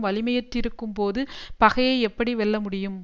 வலிமையற்றிருக்கும்போது பகையை எப்படி வெல்ல முடியும்